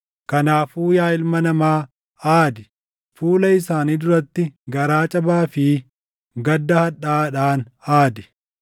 “Kanaafuu yaa ilma namaa, aadi! Fuula isaanii duratti garaa cabaa fi gadda hadhaaʼaadhaan aadi.